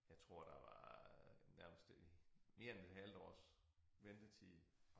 Jeg tror der var nærmest mere end et halvt års ventetid